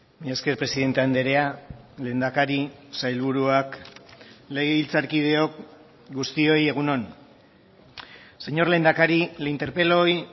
mila esker presidente andrea lehendakari sailburuak legebiltzarkideok guztioi egun on señor lehendakari le interpelo hoy